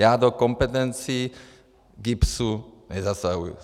Já do kompetencí GIBS nezasahuji.